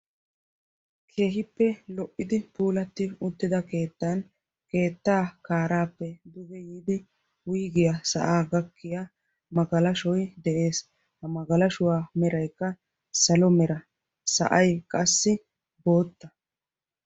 Keehippe lo'idi puulatida keettan keettaa kaarappe duge yiidi wuygiya sa'a gakkiyaa magalashshoy de'ees. Ha magalashshuwaa meraykka salo meranne sa'ay qassi bootta.